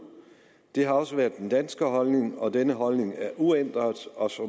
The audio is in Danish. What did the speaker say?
det har også været den danske holdning og den holdning er uændret og